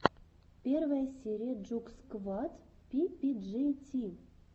первая серия джугсквад пи пи джей ти